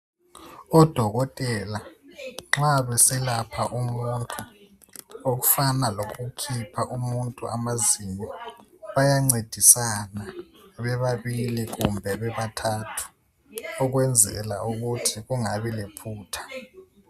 ODokotela nxa beselapha umuntu okufana lokukhipha umuntu amazinyo bayancedisana bebabili kumbe bebathathu ukwenzela ukuthi kungabi lephutha.